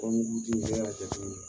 Furamugu ji ne y'a jate minɛ